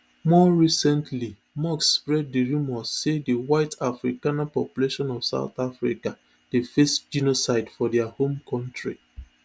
more recentlymusk spread di rumours say di white afrikaner population of south africa dey face genocide for dia home country